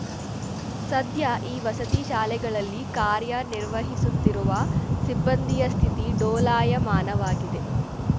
ಸದ್ಯ ಈ ವಸತಿ ಶಾಲೆಗಳಲ್ಲಿ ಕಾರ್ಯ ನಿರ್ವಹಿಸುತ್ತಿರುವ ಸಿಬ್ಬಂದಿಯ ಸ್ಥಿತಿ ಡೋಲಾಯಮಾನವಾಗಿದೆ